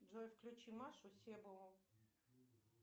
джой включи машу себову